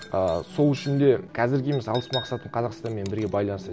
ы сол үшін де қазірге мысалы алыс мақсатым қазқстанмен бірге байланысады